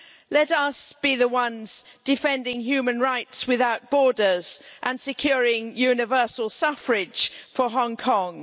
Let us be the ones defending human rights without borders and securing universal suffrage for Hong Kong.